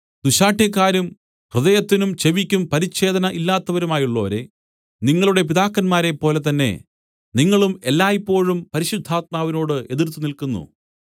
ദുശ്ശാഠ്യക്കാരും ഹൃദയത്തിനും ചെവിയ്ക്കും പരിച്ഛേദന ഇല്ലാത്തവരുമായുള്ളോരേ നിങ്ങളുടെ പിതാക്കന്മാരെപ്പോലെ തന്നെ നിങ്ങളും എല്ലായ്പോഴും പരിശുദ്ധാത്മാവിനോട് എതിർത്ത് നില്ക്കുന്നു